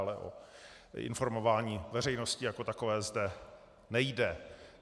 Ale o informování veřejnosti jako takové zde nejde.